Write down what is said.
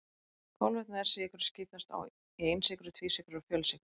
Kolvetni eða sykrur skiptast í einsykrur, tvísykrur og fjölsykrur.